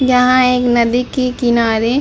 यहाँ एक नदी की किनारे --